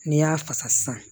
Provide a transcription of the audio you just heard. N'i y'a fasa sisan